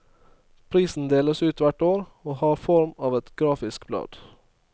Prisen deles ut hvert år, og har form av et grafisk blad.